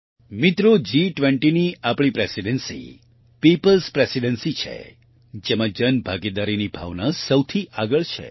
મિત્રો G20ની આપણી પ્રેસિડેન્સી peopleએસ પ્રેસિડેન્સી છે જેમાં જનભાગીદારીની ભાવના સૌથી આગળ છે